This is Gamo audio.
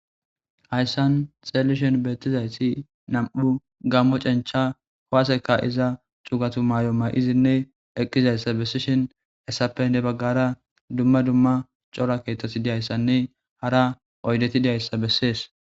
hayssan xeellishen beettizayssi nam7u gammo cencha howaseka iza cugatu maay7o may7izinne eqqizayssa bessishin essappe ne baggara dumma dumma cora keetot diyayssanne hara oydeti diyayssa bessees